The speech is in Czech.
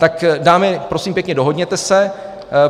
Tak dámy, prosím pěkně, dohodněte se.